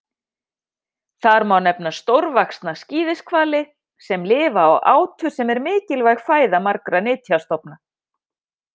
Þar má nefna stórvaxna skíðishvali sem lifa á átu sem er mikilvæg fæða margra nytjastofna.